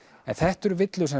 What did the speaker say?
en þetta eru villur sem